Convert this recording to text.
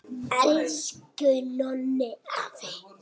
Elsku Nonni afi!